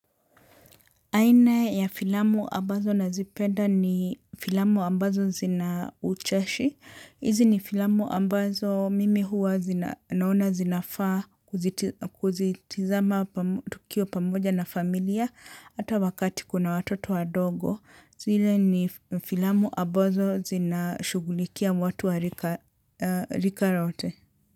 Aina ya filamu ambazo nazipenda ni filamu ambazo zinaucheshi, hizi ni filamu ambazo mimi huwa naona zinafaa kuzitizama tukiwa pamoja na familia, hata wakati kuna watoto wadogo, zile ni filamu ambazo zinashughulikia watu wa rika lote.